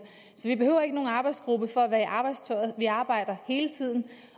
så vi behøver ikke nogen arbejdsgruppe for at være i arbejdstøjet vi arbejder hele tiden